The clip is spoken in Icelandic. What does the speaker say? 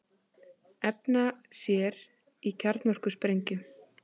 Efna sér í kjarnorkusprengju